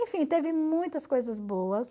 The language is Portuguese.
Enfim, teve muitas coisas boas.